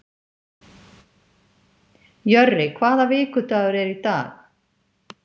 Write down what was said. Jörri, hvaða vikudagur er í dag?